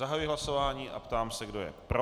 Zahajuji hlasování a ptám se, kdo je pro.